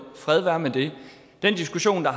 den situation at